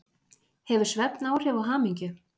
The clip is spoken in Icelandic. Hefur svefn áhrif á hamingju?